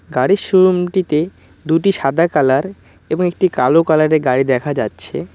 গাড়ির শোরুম -টিতে দুইটি সাদা কালার এবং একটি কালো কালার -এর গাড়ি দেখা যাচ্ছে।